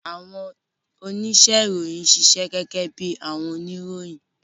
Awọn onise-iroyin ṣiṣẹ gege bi awọn oniroyin.